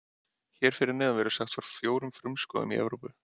Hér fyrir neðan verður sagt frá fjórum frumskógum Evrópu.